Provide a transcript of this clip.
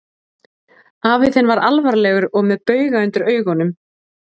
Afi þinn var alvarlegur og með bauga undir augunum.